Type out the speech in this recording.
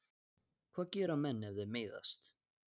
Hvað gera menn ef þeir meiðast?